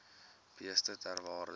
beeste ter waarde